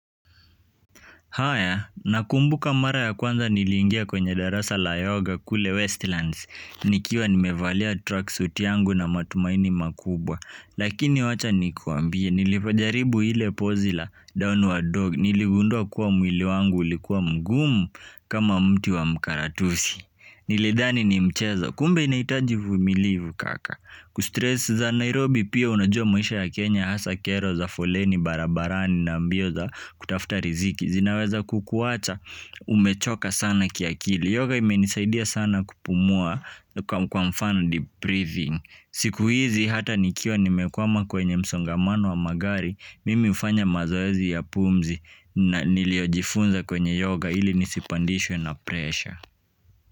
Haya nakumbuka mara ya kwanza niliingia kwenye darasa la yoga kule westlands nikiwa nimevalia tracksuit yangu na matumaini makubwa lakini wacha nikuambie nilipojaribu lile pose la downward dog niligundua kuwa mwili wangu ulikuwa mgumu kama mti wa mkaratusi. Nilidhani ni mchezo, kumbe inaihitaji uvumilivu kaka. Kustress za Nairobi pia unajua maisha ya Kenya hasa kero za foleni barabarani na mbio za kutafuta riziki zinaweza kukuwacha umechoka sana kiakili yoga imenisaidia sana kupumua kwa mfano deep breathing siku hizi hata nikiwa nimekwama kwenye msongamano wa magari mimi hufanya mazoezi ya pumzi na niliojifunza kwenye yoga ili nisipandishwe na pressure.